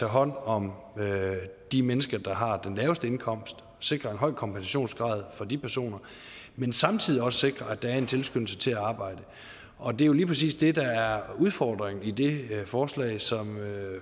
hånd om de mennesker der har den laveste indkomst og sikrer en høj kompensationsgrad for de personer men samtidig også sikrer at der er en tilskyndelse til at arbejde og det er jo lige præcis det der er udfordringen i det forslag som